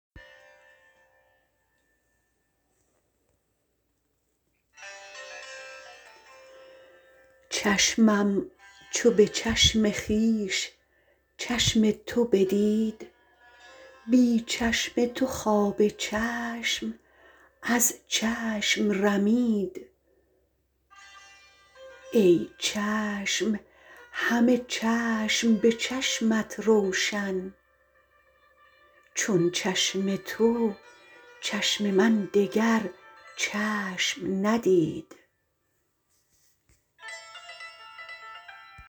چشمم چو به چشم خویش چشم تو بدید بی چشم تو خواب چشم از چشم رمید ای چشم هم چشم به چشمت روشن چون چشم تو چشم من دگر چشم ندید